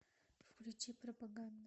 включи пропаганда